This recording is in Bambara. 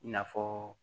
I n'a fɔ